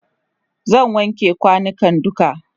zai wanke kwanukan duka